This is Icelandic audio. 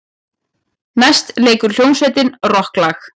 Næst leikur hljómsveitin rokklag.